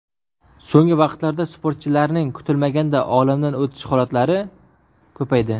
So‘nggi vaqtlarda sportchilarning kutilmaganda olamdan o‘tishi holatlari ko‘paydi.